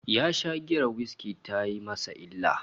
Ya sha giyar whiskey tayi masa illa